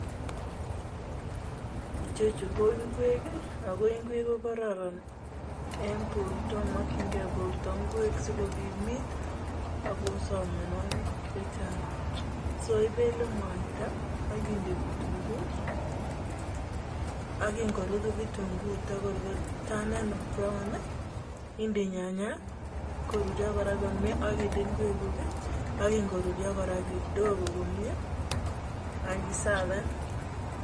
Ichechu ko ingwek i, ako ingwek ko kararan en porto, makchingei porto ngwek si kokimit akoter mianwogik che chang'. So, ipele mwaita akinde vitunguu ak iken korurya vitunguu kotukor kotanan brown i, inde nyanyek korurya kora komye ak inde ngwekuk akin korurya kora kidogo ak i savan.